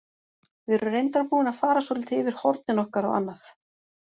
Við erum reyndar búin að fara svolítið yfir hornin okkar og annað.